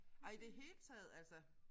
Ej i det hele taget altså